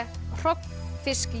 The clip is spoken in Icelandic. hrogn